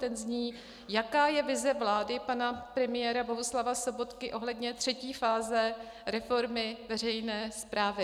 Ten zní, jaká je vize vlády pana premiéra Bohuslava Sobotky ohledně třetí fáze reformy veřejné správy.